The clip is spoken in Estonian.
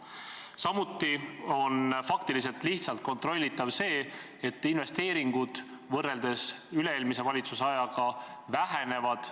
Samuti on lihtsalt kontrollitav see, et investeeringud võrreldes üle-eelmise valitsuse ajaga vähenevad.